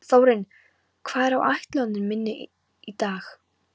Þórinn, hvað er á áætluninni minni í dag?